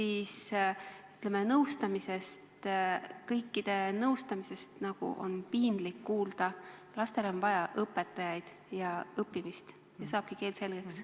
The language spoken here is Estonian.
Sellest kõikide nõustamisest on nagu piinlik kuulda, lastele on vaja õpetajaid ja õppimist, ja saabki keel selgeks.